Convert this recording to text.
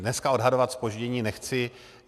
Dneska odhadovat zpoždění nechci.